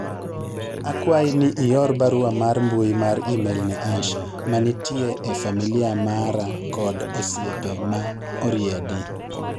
akwayi ni ior barua mar mbui mar email ne Asha manitie e familia mara kod osiepe ma oriedi